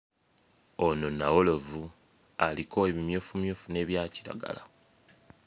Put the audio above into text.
Ono nnawolovu aliko ebimyufumyufu n'ebya kiragala.